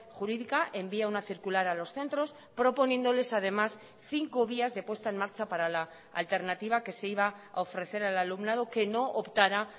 jurídica envía una circular a los centros proponiéndoles además cinco vías de puesta en marcha para la alternativa que se iba a ofrecer al alumnado que no optara